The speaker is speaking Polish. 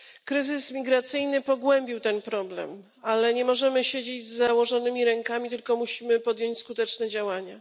Kryzys migracyjny pogłębił ten problem, ale nie możemy siedzieć z założonymi rękami, tylko musimy podjąć skuteczne działania.